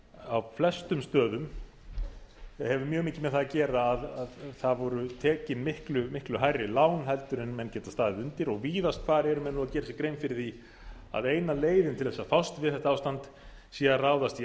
á flestum stöðum mikið með það að gera að það voru tekin miklu miklu hærri lán heldur en menn geta staðið undir og víðast hvar eru menn nú að gera sér grein fyrir því að eina leiðin til að fást við þetta ástand sé að ráðast í